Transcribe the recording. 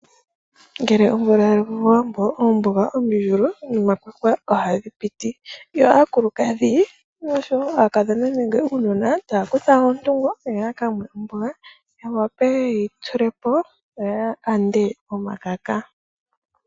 Ngele omvula ya loko kOwambo oomboga, omindjulu, nomakwaka ohadhi piti. Yo aakulukadhi noshowo aakadhona nenge uunona, taya kutha oontungwa yo ya kamwe omboga. ya wape ye yi tulepo yo ya ande omakaka.